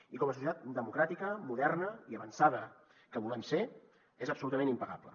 i com a societat democràtica moderna i avançada que volem ser és absolutament impagable